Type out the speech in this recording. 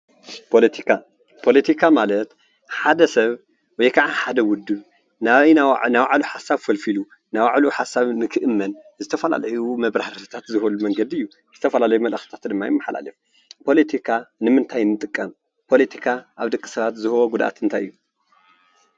ፖለቲካ፦ ፖለቲካ ማለት ሓደ ሰብ ወይ ከዓ ሓደ ውድብ ናይ ባዕሉ ሓሳብ ኣፈልፊሉ፣ ናይ ባዕሉ ሓሳብ ንክእመን ዝተፈላለዩ መብራህርህታት ዝህበሉ መንገዲ እዩ፡፡ ዝተፈላለየ መልእኽትታት ድማ የመሓላልፍ፡፡ ፖለቲካ ንምንታይ ንጥቀም? ፖለቲካ ኣብ ደቂ ሰባት ዝህቦ ጉድኣት ታይ እዩ?